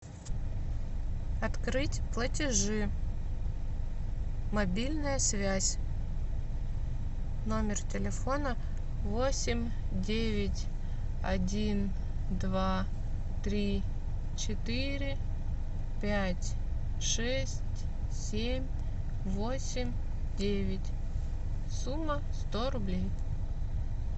открыть платежи мобильная связь номер телефона восемь девять один два три четыре пять шесть семь восемь девять сумма сто рублей